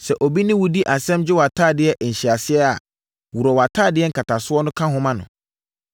Sɛ obi ne wo di asɛm gye wʼatadeɛ nhyɛaseɛ a, worɔ wʼatadeɛ nkatasoɔ ka ho ma no.